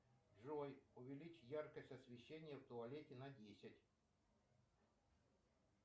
джой увеличь яркость освещения в туалете на десять